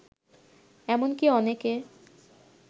এমনকি অনেকে